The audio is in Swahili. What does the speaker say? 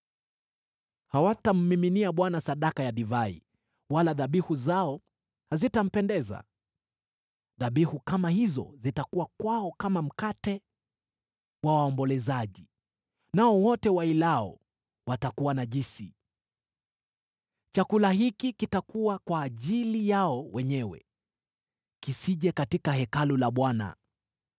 Hawatammiminia Bwana sadaka ya divai wala dhabihu zao hazitampendeza. Dhabihu kama hizo zitakuwa kwao kama mkate wa waombolezaji; nao wote wazilao watakuwa najisi. Chakula hiki kitakuwa kwa ajili yao wenyewe; kisije katika Hekalu la Bwana .